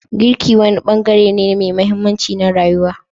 Girki wani bangare ne mai mahimmanci na rayuwa.